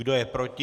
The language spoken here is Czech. Kdo je proti?